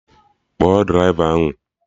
Kpọọ draịva ahụ!